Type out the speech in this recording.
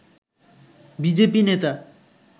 BJP নেতা